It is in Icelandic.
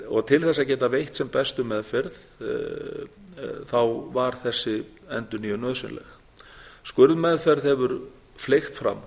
til þess að geta veitt sem bestu meðferð var þessi endurnýjun nauðsynleg skurðmeðferð hefur fleygt fram